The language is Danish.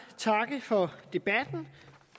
takke for debatten